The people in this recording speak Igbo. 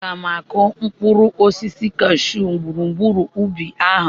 Aga m akụ mkpụrụ osisi cashyuu gburugburu ubi ahụ.